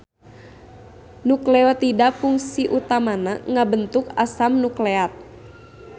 Nukleotida pungsi utamana ngabentuk asam nukleat